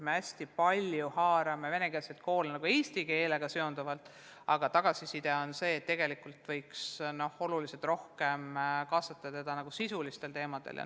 Me haarame venekeelseid koole hästi palju eesti keelega seonduvalt, aga tagasiside on see, et tegelikult võiks neid oluliselt rohkem kaasata ka sisulistel teemadel.